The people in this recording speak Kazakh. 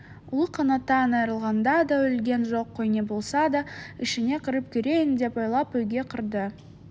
ұлы қанаттан айырылғанда да өлген жоқ қой не болса да ішіне кіріп көрейін деп ойлап үйге кірді